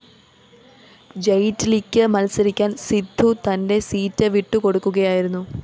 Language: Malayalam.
ജയ്റ്റ്‌ലിക്ക് മത്സരിക്കാന്‍ സിദ്ധു തന്റെ സീറ്റ് വിട്ടുകൊടുക്കുകയായിരുന്നു